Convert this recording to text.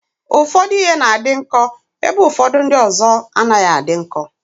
Ụfọdụ ihe na-adị nkọ ebe ụfọdụ ndị ọzọ anaghị adị nkọ.